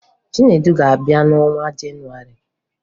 Chinedu ga-abịa n'ọnwa Jenụwarị